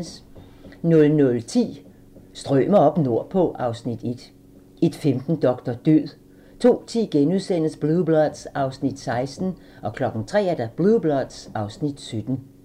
00:10: Strømer oppe nordpå (Afs. 1) 01:15: Doktor død 02:10: Blue Bloods (Afs. 16)* 03:00: Blue Bloods (Afs. 17)